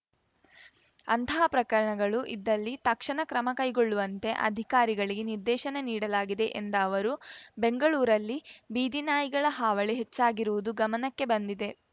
ಅಂತಹ ಪ್ರಕರಣಗಳು ಇದ್ದಲ್ಲಿ ತಕ್ಷಣ ಕ್ರಮ ಕೈಗೊಳ್ಳುವಂತೆ ಅಧಿಕಾರಿಗಳಿಗೆ ನಿರ್ದೇಶನ ನೀಡಲಾಗಿದೆ ಎಂದ ಅವರು ಬೆಂಗಳೂರಲ್ಲಿ ಬೀದಿ ನಾಯಿಗಳ ಹಾವಳಿ ಹೆಚ್ಚಾಗಿರುವುದು ಗಮನಕ್ಕೆ ಬಂದಿದೆ